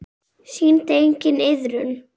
Sýndi enginn iðrun?